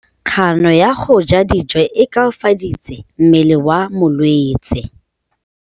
Kganô ya go ja dijo e koafaditse mmele wa molwetse.